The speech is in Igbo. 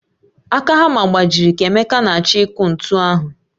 Aka hamma gbajịrị ka emeka na-achọ ịkụ ntu ahụ